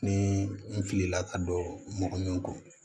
Ni n filila ka don mɔgɔ ɲɛkɔ